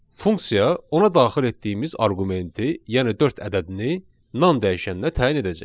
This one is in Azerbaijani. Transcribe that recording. Funksiya ona daxil etdiyimiz arqumenti, yəni dörd ədədini non dəyişəninə təyin edəcək.